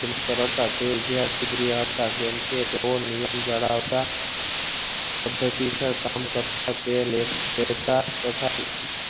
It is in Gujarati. કરાવતા તે કેમ કે જેવું નિયમ જ્ડાવતા કામ કરતા અત્યારે એ પેહેરતા